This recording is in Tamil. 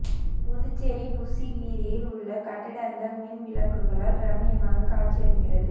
புதுச்சேரி புஸ்ஸி வீதியில் உள்ள கட்டடங்கள் மின்விளக்குகளால் ரம்மியமாக காட்சி அளிக்கிறது